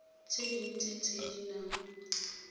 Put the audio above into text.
tse dintsi tse di nang